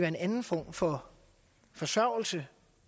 en anden form for forsørgelse